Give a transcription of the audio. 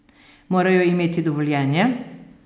Morajo imeti dovoljenje?